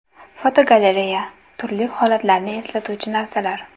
Fotogalereya: Turli holatlarni eslatuvchi narsalar.